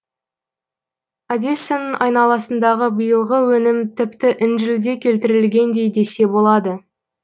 одессаның айналасындағы биылғы өнім тіпті інжілде келтірілгендей десе болады